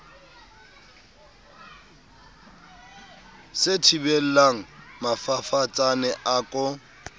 se thibelang mafafatsane a ko